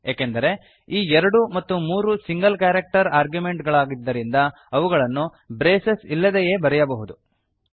ಏಕೆಂದರೆ ಈ 2 ಮತ್ತು 3 ಸಿಂಗಲ್ ಕ್ಯಾರೆಕ್ಟರ್ ಆರ್ಗ್ಯುಮೆಂಟ್ ಗಳಾದ್ದರಿಂದ ಇವುಗಳನ್ನು ಬ್ರೇಸಸ್ ಇಲ್ಲದೆಯೇ ಬರೆಯಬಹುದು